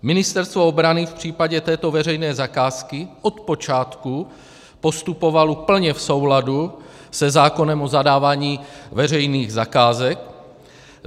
Ministerstvo obrany v případě této veřejné zakázky od počátku postupovalo plně v souladu se zákonem o zadávání veřejných zakázek.